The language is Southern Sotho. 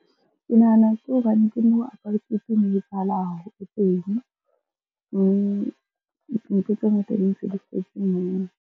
Ke nahana ke hobane ke moo apartheid ne etsahala haholo teng, mme ntho tse ngata di ntse di setse moo.